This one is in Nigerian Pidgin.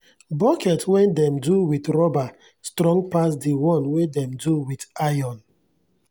bucket wen dem do wit rubber strong pass de one wen dem do wit iron.